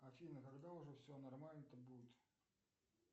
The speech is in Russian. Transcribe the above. афина когда уже все нормально то будет